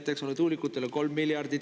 … 6 miljardit, eks ole, tuulikutele 3 miljardit.